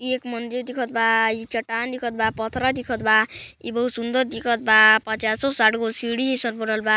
ई एक मंदिर दिखत बा ई चट्टान दिखत बा पत्थरा दिखत बा ई बहुत सुंदर दिखत बा पचासो-साठ गो सीढ़ी बा--